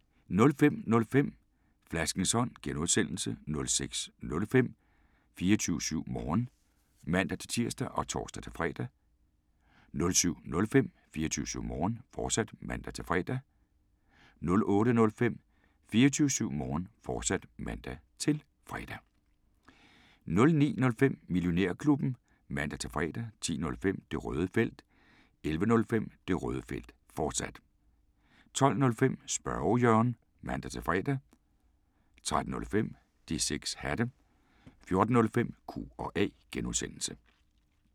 05:05: Flaskens Ånd (G) 06:05: 24syv Morgen (man-tir og tor-fre) 07:05: 24syv Morgen, fortsat (man-fre) 08:05: 24syv Morgen, fortsat (man-fre) 09:05: Millionærklubben (man-fre) 10:05: Det Røde Felt 11:05: Det Røde Felt, fortsat 12:05: Spørge Jørgen (man-fre) 13:05: De 6 Hatte 14:05: Q&A (G)